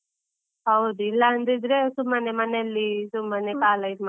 ಹೌದು, ಇಲ್ಲಾ ಅಂದಿದ್ರೆ ಸುಮ್ಮನೆ ಮನೆಯಲ್ಲಿ ಸುಮ್ಮನೆ ಕಾಲ ಇದ್ಮಾಡ್ತಾರೆ.